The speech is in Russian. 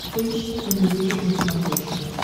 поищи энмьюзик на смотрешке